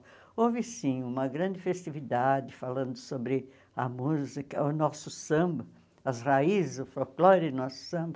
Houve, sim, uma grande festividade falando sobre a música, o nosso samba, as raízes, o folclore do nosso samba.